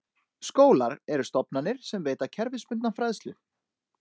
Skólar eru stofnanir sem veita kerfisbundna fræðslu.